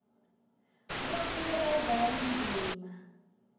bonkhe badlali ndzima